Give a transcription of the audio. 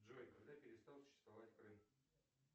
джой когда перестал существовать крым